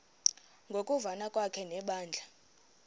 ngokuvana kwakhe nebandla